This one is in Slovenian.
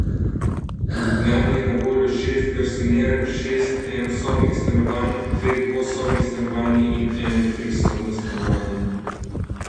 V Ljubljani je na voljo šest garsonjer, šest enosobnih stanovanj, dve dvosobni stanovanji in eno trisobno stanovanje.